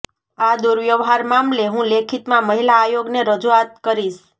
આ દુર્વ્યવહાર મામલે હું લેખિતમાં મહિલા આયોગને રજૂઆત કરીશ